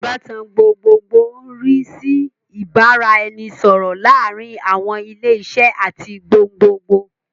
Ìbátan gbogbogbòò ń rí sí ìbára ẹni sọ̀rọ̀ láàárín àwọn ilé iṣẹ́ àti gbogbogbòò